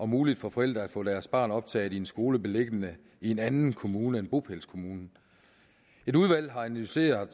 muligt for forældre at få deres barn optaget i en skole beliggende i en anden kommune end bopælskommunen et udvalg har analyseret